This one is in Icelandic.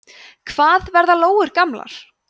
hvað verða lóur gamlar